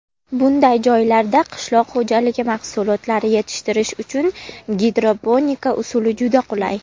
Bunday joylarda qishloq xo‘jaligi mahsulotlari yetishtirish uchun gidroponika usuli juda qulay.